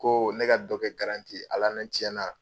Koo ne ka dɔ kɛ ye Ala ne tiɲɛ na